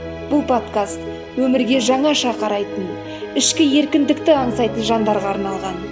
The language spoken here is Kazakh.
бұл подкаст өмірге жаңаша қарайтын ішкі еркіндікті аңсайтын жандарға арналған